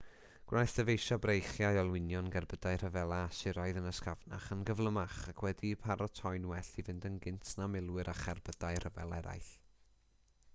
gwnaeth dyfeisio breichiau olwynion gerbydau rhyfela asyriaidd yn ysgafnach yn gyflymach ac wedi'u paratoi'n well i fynd yn gynt na milwyr a cherbydau rhyfel eraill